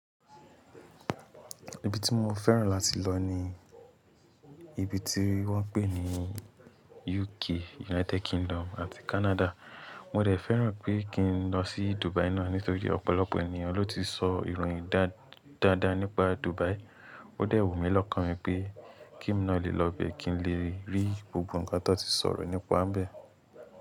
Ibi tí mo fẹ́ràn láti lọ ni ibi tí wọ́n ń pè ní UK, United Kingdom àti Canada. Mo dè fẹ́ràn pé kí n lọ sí Dubai náà nítorí pe ọ̀pọ̀lọpọ̀ ènìyàn ló ti sọ ìròyìn dáadáa nípa Dubai. Ó dẹ̀ wù mí lọ́kàn mi pé kí n lè lọ bẹ kí n lè rí gbogbo nǹkan tó n ti sọ̀rọ̀ nípa n bẹ̀